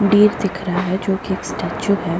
Deer दिख रहा है जो की एक स्टेचू है।